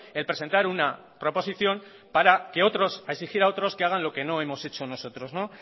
el presentar una proposición para que otros a exigir a otros que hagan lo que no hemos hecho nosotros